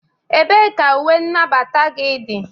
ebee ka uwe nagbata gị dị?